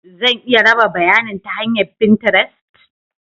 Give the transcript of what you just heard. Zan iya raba bayanin ta hanyar finterest?